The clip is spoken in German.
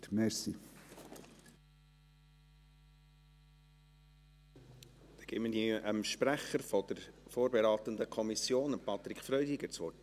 Ich gebe dem Sprecher der vorberatenden Kommission, Patrick Freudiger, das Wort.